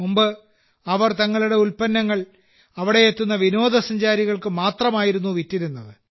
മുമ്പ് അവർ തങ്ങളുടെ ഉൽപന്നങ്ങൾ അവിടെ എത്തുന്ന വിനോദസഞ്ചാരികൾക്ക് മാത്രമായിരുന്നു വിറ്റിരുന്നത്